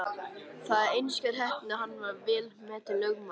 Það var einskær heppni að hann varð vel metinn lögmaður.